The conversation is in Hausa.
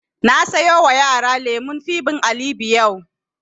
Na sayo wa yaran lemun fibe alibe yau